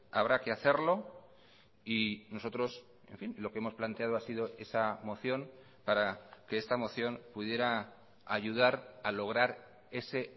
habrá que hacerlo y nosotros en fin lo que hemos planteado ha sido esa moción para que esta moción pudiera ayudar a lograr ese